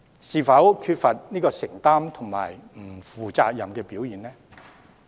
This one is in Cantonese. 這會否是缺乏承擔和不負責任的表現呢？